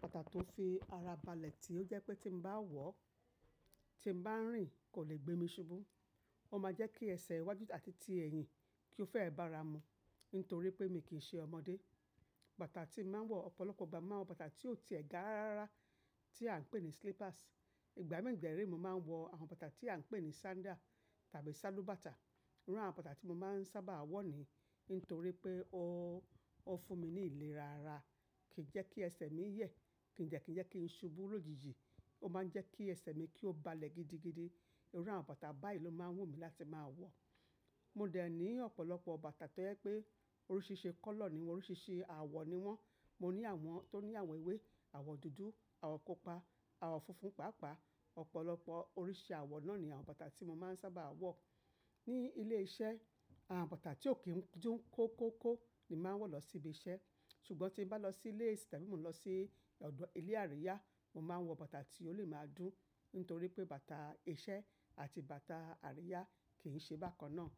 Bàtà tó fi ara balẹ̀ tí ó jẹ́ pé tí n bá wọ̀ ọ́, tí n bá ń rìn kò lè gbé mi ṣubú. Ó máa jẹ́ kí ẹsẹ̀ iwájú àti ti ẹ̀yìn kí ó fẹ́ bàára mu nítorí pé mi kì í ṣe ọmọdé. Bàtà tí màá ń wọ̀ ọ̀pọ̀lọpọ̀ ìgbà mo máa ń wọ bàtà tí ó ti ẹ̀ gà rárá tí à ń pè ní slippers. Ìgbà mii dẹ̀ ré mo máa ń wọ àwọn bàtà tí à ń pè ní sandal tàbí sálù bàtà. Irú àwọn bàtà tí mo máa ń sábà á wọ̀ ni nítorí pé ó, ó fún mi ní ìlera ara, kì í jẹ́ kí ẹsẹ̀ mi yẹ̀, kì dẹ̀ ki jẹ́ kí ń ṣubú lòjijì, ó máa ń jẹ́ kí ẹsẹ̀ mi kí ó balẹ̀ gidigidi. Irú àwọn bàtà báyìí ló máa ń wù mí láti máa wọ̀. Mo dẹ̀ ní ọ̀pọ̀lọpọ̀ bàtà tó jẹ́ pé oríṣìíríṣìí colour ni wọ́n, oríṣìíríṣìí àwọ̀ ni wọ́n. Mo ní àwọn tó ní àwọn ewé, àwọ̀ dúdú, àwọ̀ pupa, àwọ̀ funfun pàápàá. Ọ̀pọ̀lọpọ̀ oríṣi àwọ̀ náà ni àwọn bàtà tí mo máa ń sábà á wọ̀. Ní ilé iṣẹ́ àwọn bàtà tí ò kí ń dùn kó kó kó ni màá ń wọ̀ lọ sí ibi iṣẹ́. Ṣùgbọ́n tí mo bá lọ sí ilé, tàbí mo n lọ sí ọ̀dọ̀, ilé àríyá, mo máa ń wọ bàtà tí ó lè máa dùn nítorí pé bàtà iṣẹ́ àti bàtà àríyá kì í ṣe bákan náà.